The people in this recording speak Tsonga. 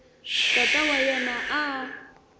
tata wa yena a a